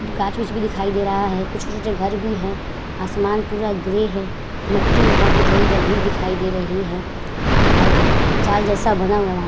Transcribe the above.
गाछ उछ भी दिखाई दे रहा है। कुछ छोटे-छोटे घर भी है। आसमान पूरा ग्रे है। मिट्टी वहां की थोड़ी दिखाई दे रही है और जाल जैसा बना हुआ है वहां।